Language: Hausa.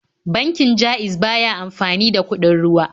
Bankin Ja'iz ba ya amfani da kuɗin ruwa.